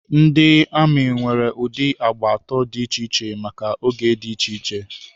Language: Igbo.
Ndị amị nwere ụdị agba atọ dị iche iche maka oge dị iche iche.